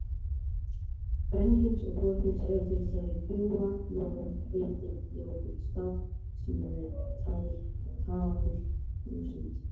Kvenkyns og hvorugkyns eru til dæmis bjúga, hnoða, hveiti, jógúrt, saft, smíði, tál, þúsund.